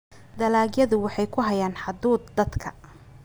dalagyadu waxay ku hayaan hadhuudh dadka.